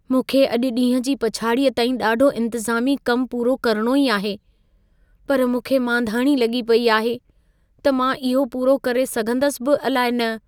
मूंखे अॼु ॾींहं जी पछाड़ीअ ताईं ॾाढो इंतज़ामी कम पूरो करणो ई आहे। पर मूंखे मांधाणी लॻी पई आहे, त मां इहो पूरो करे सघंदसि बि अलाइ न।